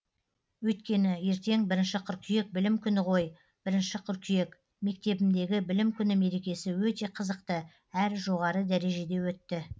өйткені ертең бірінші қыркүйек білім күні ғой бірінші қырқүйек мектебімдегі білім күні мерекесі өте қызықты әрі жоғары дәрежеде өтті